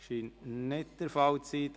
– Das scheint nicht der Fall zu sein.